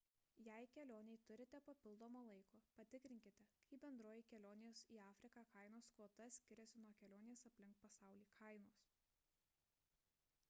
jei kelionei turite papildomo laiko patikrinkite kaip bendroji kelionės į afriką kainos kvota skiriasi nuo kelionės aplink pasaulį kainos